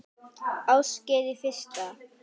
Ásgeir: Í fyrsta?